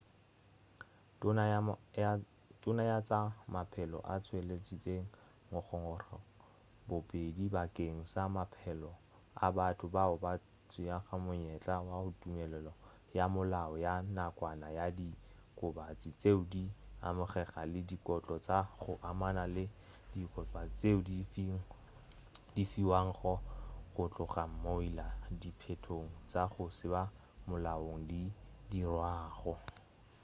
tona ya tša maphelo o tšweleditše ngongorego bobedi bakeng sa maphelo a batho bao ba tšeago monyetla wa tumelelo ya molao ya nakwana ya diokobatši tšeo di amegago le dikotlo tša go amana le diokobatši tšeo di fiwago go tloga mola diphetogo tša go se ba molaong di dirwago